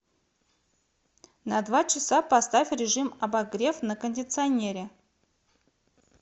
на два часа поставь режим обогрев на кондиционере